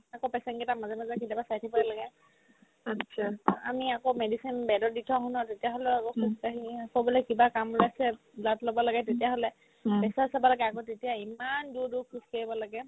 আকৌ patient কেইটাক মাজে মাজে কেতিয়াবা চাই থাকিবকে লাগে তাৰপিছত আমি আকৌ medicine bed ত দি থম নহয় তেতিয়াহ'লেও আকৌ পিছত আহি কিনে কই বোলে কিবা কাম ওলাইছে blood ল'ব লাগে তেতিয়াহ'লে pressure চাব লাগে আগত তেতিয়া ইম্মান দূৰ দূৰ খোজকাঢ়িব লাগে